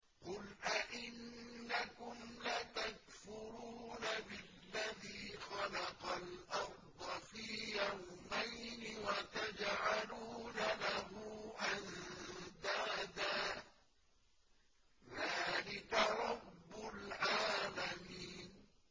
۞ قُلْ أَئِنَّكُمْ لَتَكْفُرُونَ بِالَّذِي خَلَقَ الْأَرْضَ فِي يَوْمَيْنِ وَتَجْعَلُونَ لَهُ أَندَادًا ۚ ذَٰلِكَ رَبُّ الْعَالَمِينَ